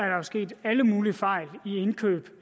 jo sket alle mulige fejl i indkøbene